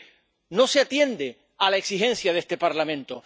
Porque no se atiende a la exigencia de este Parlamento.